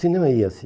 Cinema ia-se.